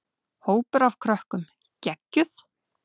Hópur af krökkum: Geggjuð.